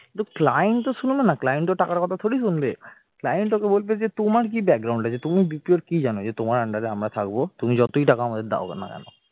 কিন্তু client তো শুনবে না client ওর টাকার কথা তোরই শুনবে client ওকে বলবে যে তোমার কি আছে তুমি BPO ওর কি জানো যে তোমার under এ আমরা ছাড়বো তুমি যতই টাকা আমাদের দাওনা কেন